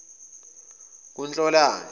kunhlolanja